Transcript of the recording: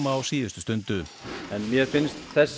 á síðustu stundu mér finnst